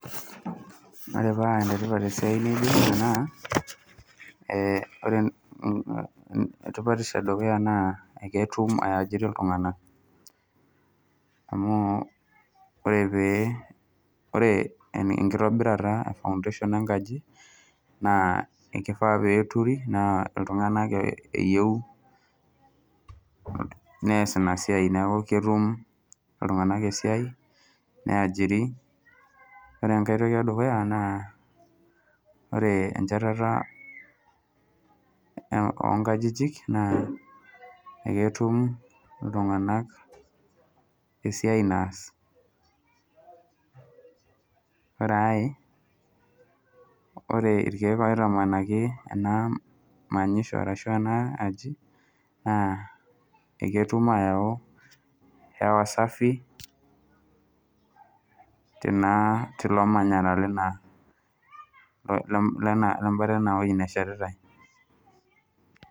Ore paa enetipat esiai nijo ina naa, ore tipatisho edukuya naa eketu ai ajiri iltung'anak. Amu ore pee ore enkitobirata e foundation enkaji, naa ekifaa peturi na iltung'anak eyieu nees inasiai neku ketum iltung'anak esiai, niajiri. Ore enkae toki edukuya naa, ore enchetata onkajijik, naa eketum iltung'anak esiai naas. Ore ae, ore irkeek oitamanaki enamanyisho ashu ena aji, naa eketum ayau hewa safi, tina tilo manyara lebata inewoi neshetitai.